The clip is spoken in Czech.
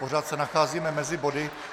Pořád se nacházíme mezi body.